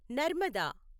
Narmada